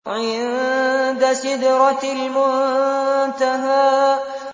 عِندَ سِدْرَةِ الْمُنتَهَىٰ